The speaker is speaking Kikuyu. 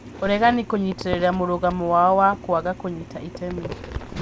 Ũregani kũnyitĩrĩra mũrũgamo wao wa kwaga kũnyita itemi